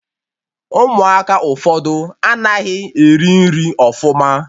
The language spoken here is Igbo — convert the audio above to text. Ụmụaka ụfọdụ anaghị eri nri ọfụma